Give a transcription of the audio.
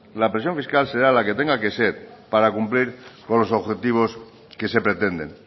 la presión fiscal será la que tenga que ser para cumplir con los objetivos que se pretenden